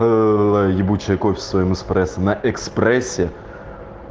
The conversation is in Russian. ээ ебучее кофе со своим экспрессо на экспрессе